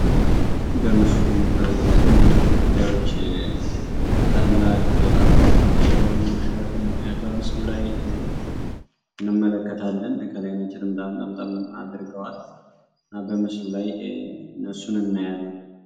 በምስሉ የእስልምና ተከታዮች ታላቅ አባት የሆኑ ሼክን በምስሉ ላይ እንመለከታለን። ከላይ ነጭ ጥምጣም ጠምጠም አድርገዋል እና በምስሉ ላይ እነሱን እናያለን።